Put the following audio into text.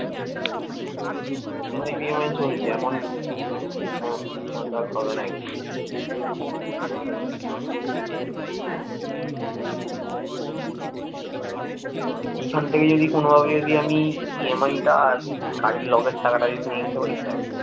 এখান থেকে যদি কোনভাবে যদি আমি EMI টা আর কাজের লোকের টাকাটা যদি তুলে নিতে পারি ব্যাস